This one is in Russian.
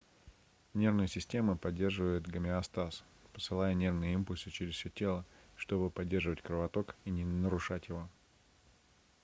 нервная система поддерживает гомеостаз посылая нервные импульсы через все тело чтобы поддерживать кровоток и не нарушать его